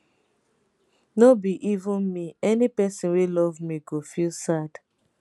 no be even me any pesin wey love me go feel sad